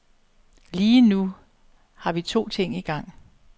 Lige nu har vi to ting igang.